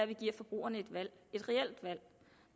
vi giver forbrugerne et valg et reelt valg